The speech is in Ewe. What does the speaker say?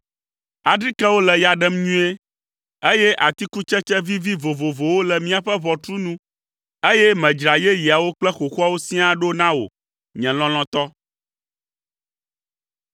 Adrikewo le ya ɖem nyuie, eye atikutsetse vivi vovovowo le míaƒe ʋɔtru nu, eye medzra yeyeawo kple xoxoawo siaa ɖo na wò, nye lɔlɔ̃tɔ.